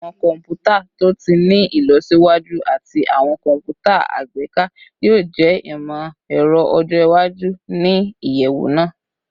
Awọn kọnputa to ti ni ilọsiwaju ati awọn kọnputa agbeka yoo jẹ imọ-ẹrọ ọjọ iwaju ni iyẹwu naa